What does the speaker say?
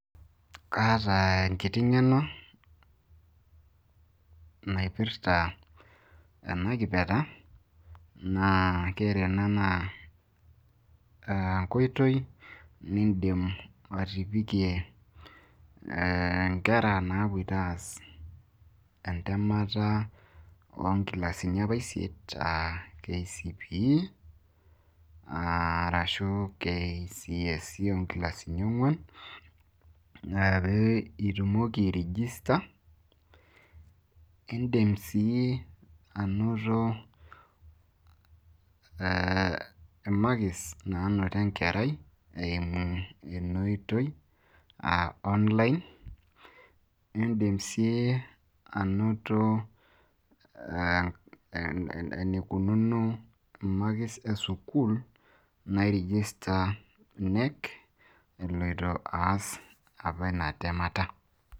kaata enkiti ng'eno naipirta ena kipirta, naa ore enaa naa enkoitoi nidim atipikie nkera naapoito aas entemata oo nkilasini apa isiet, kcpe ashu kcse oo nkilasini ong'uan, ashu tumoki airegister, idim sii anoto ee makis naanoto enkerai eimu ina oitoi aa online, idim sii anoto, enikununo imakis esukuul.ni register knec eloito aas ina temeta.